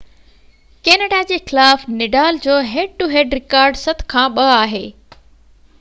Canada جي خلاف Nadal جو هيڊ ٽو هيڊ رڪارڊ 7–2 آهي